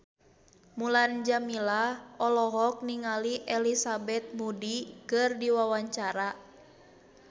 Mulan Jameela olohok ningali Elizabeth Moody keur diwawancara